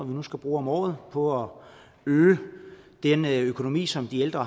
vi nu skal bruge om året på at øge den økonomi som de ældre